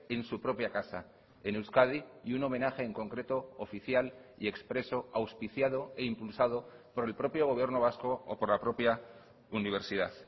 en su propia casa en euskadi y un homenaje en concreto oficial y expreso auspiciado e impulsado por el propio gobierno vasco o por la propia universidad